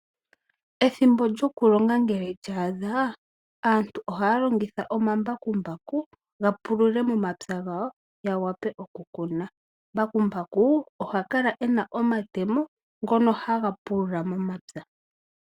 Ethimbo lyokulonga ngele lya adha aantu ohaya longitha omambakumbaku ga pulule momapya gawo ya vule okukuna. Mbakumbaku oha kala ena omatemo ngono haga pulula momapya .